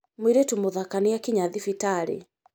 Mũirĩtu mũthaka nĩakinya thibitarĩ